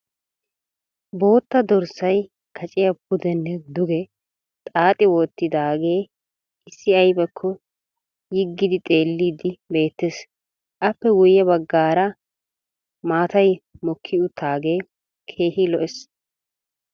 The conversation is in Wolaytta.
Bootta dorssay kacciya pudenne duge xaaxi wotidaagee issi aybakko yii giidi xeelidi beettees. Appe guye bagaara maatay mokki utaagee keehi lo'ees.